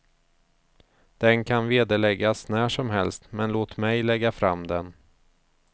Den kan vederläggas när som helst, men låt mig lägga fram den.